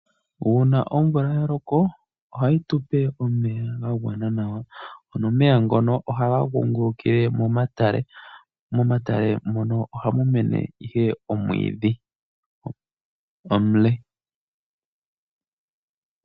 Uuna omvula ya loko, ohayi tupe omeya ga gwana nawa ngono haga kungulukile momatale mono hamu mene omwiidhi omule.